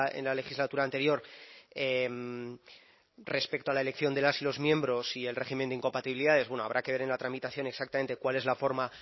en la legislatura anterior respecto a la elección de las y los miembros y el régimen de incompatibilidades bueno habrá que ver en la tramitación exactamente cuál es la forma